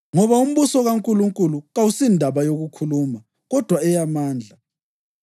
Ngoba umbuso kaNkulunkulu kawusindaba yokukhuluma kodwa eyamandla.